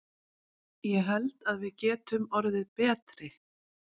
Ég held að við getum orðið betri.